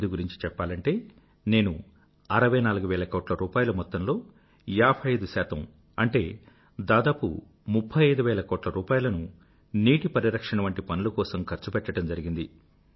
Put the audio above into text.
201718 గురించి చెప్పాలంటే నేను 64 వేల కోట్ల రూపాయిల మొత్తంలో 55 అంటే దాదాపు 35వేల కోట్ల రూపాయిలను నీటి పరిరక్షణ వంటి పనుల కోసం ఖర్చుపెట్టడం జరిగింది